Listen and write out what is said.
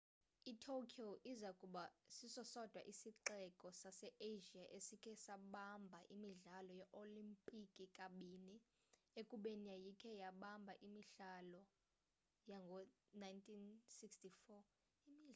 i-tokyo iza kuba siso sodwa isixeko sase-asia esikhe sabamba imidlalo yee-olimpiki kabini ekubeni yayikhe yabamba imihlalo yango-1964